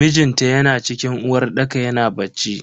Mijinta yana cikin uwarɗaka yana bacci.